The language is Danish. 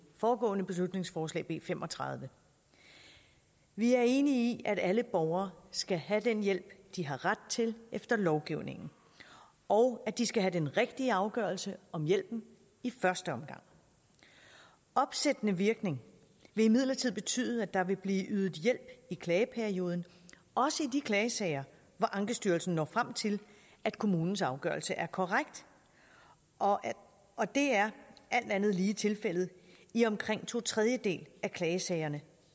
foregående beslutningsforslag b fem og tredive vi er enige i at alle borgere skal have den hjælp de har ret til efter lovgivningen og at de skal have den rigtige afgørelse om hjælpen i første omgang opsættende virkning vil imidlertid betyde at der vil blive ydet hjælp i klageperioden også i de klagesager hvor ankestyrelsen når frem til at kommunens afgørelse er korrekt og og det er alt andet lige tilfældet i omkring to tredjedele af klagesagerne